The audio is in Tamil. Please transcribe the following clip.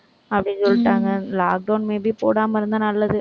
அப்படின்னு சொல்லிட்டாங்க lockdown maybe போடாம இருந்தா, நல்லது